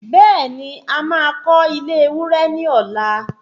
Bẹẹni a má kó ilé ewúrẹ́ ní ọ̀la